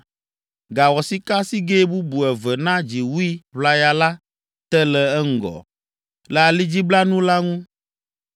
Gawɔ sikasigɛ bubu eve na dziwui ʋlaya la te le eŋgɔ, le alidziblanu la ŋu.